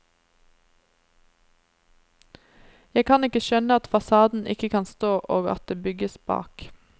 Jeg kan ikke skjønne at fasaden ikke kan stå, og at det bygges bak.